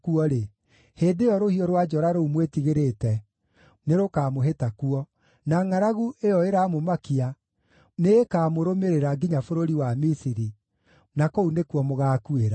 hĩndĩ ĩyo rũhiũ rwa njora rũu mwĩtigĩrĩte, nĩrũkamũhĩta kuo, na ngʼaragu ĩyo ĩramũmakia nĩĩkamũrũmĩrĩra nginya bũrũri wa Misiri, na kũu nĩkuo mũgaakuĩra.